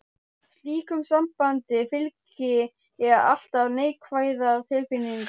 Slíku sambandi fylgja alltaf neikvæðar tilfinningar.